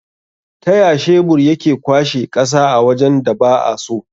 Taya shebur yake kwashe ƙasa a wajan da ba'a so?